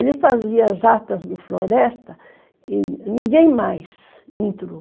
Ele fazia as atas do Floresta e ninguém mais entrou.